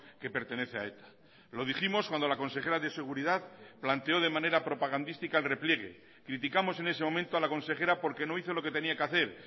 que pertenece a eta lo dijimos cuando la consejera de seguridad planteó de manera propagandística el repliegue criticamos en ese momento a la consejera porque no hizo lo que tenía que hacer